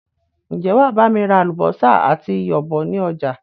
Ń jẹ́ wàá bami ra àlùbósà àti iyọ̀ bọ̀ ni ọjà?